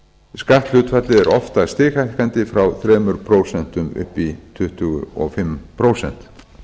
skatthlutfallið er oftast stighækkandi frá þremur prósentum upp í tuttugu og fimm prósent